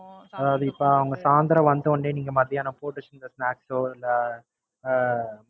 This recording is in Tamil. அதாவது இப்ப அவுங்க சாயந்திரம் வந்த உடனே நீங்க மதியானம் போட்டு வச்சு இருந்த Snacks ஓ இல்ல அஹ்